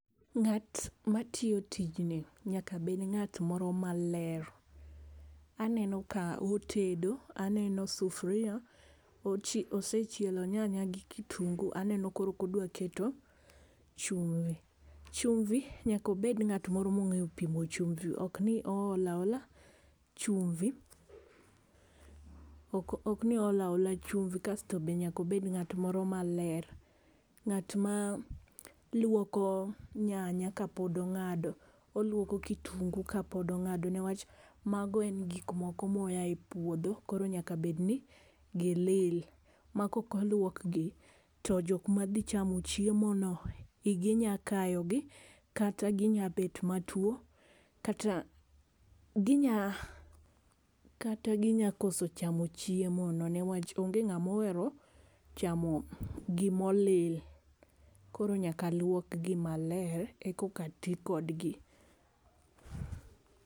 Ng'at ma tiyo tijni nyaka bed ng'at moro ma ler, aneno ka otedo, aneno sufria osechielo nyanya gi kitungu aneno koro ka odwa keto chumvi, nyaka obed ng'at moro ma onge pimo chumvi ok ni oolo aola chumvi. Kasto be nyaka obed ng'at moro ma ler, ng'at ma lwoko nyanya ka pok ong'ado, olwoko kitungu ka pod ionge ne wach ma go en gik moko ma oa e puodho koro nyaka bed n gi lil. Ma kok olwok gi to jok ma dhi chamo chiemo no igi nya kayo gi ,kata gi nya bet ma two kata gi nya koso chamo chiemo no ni wach onge ng'ama ohero chamo gi ma olil, koro nyaka lwok gi maler e ka ti kodgi.